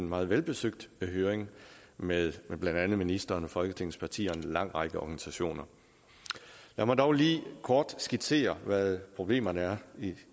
meget velbesøgt høring med blandt andet ministeren folketingets partier og en lang række organisationer lad mig dog lige kort skitsere hvad problemerne